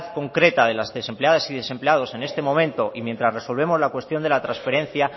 concreta de las desempleadas y los desempleados en este momento y mientras resolvemos la cuestión de la transferencia